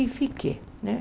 E fiquei, né?